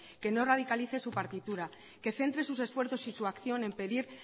que no radicalice su partitura que centre sus esfuerzos y su acción en pedir